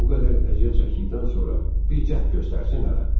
Bu qədər əziyyət çəkdikdən sonra bir cəhd göstərsin hələ.